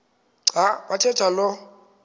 xa bathetha lo